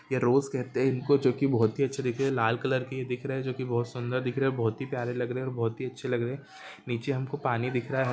यह रोज कहते है इनको जो के बहुत ही अच्छे दिखते है लाल कलर के दिख रहे है जो की बहुत सुन्दर दिख रहे है बहुत ही प्यारे रहे है और बहुत ही अच्छे लग रहे है नीचे हमको पानी दिख रहा है।